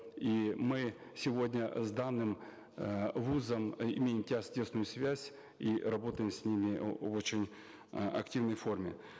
и мы сегодня э с данным э вуз ом э имеем тесную связь и работаем с ними в очень э активной форме